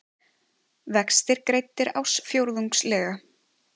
Vextir greiddir ársfjórðungslega